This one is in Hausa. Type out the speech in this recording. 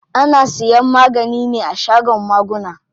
Ana siyan magani ne a shagon maguna.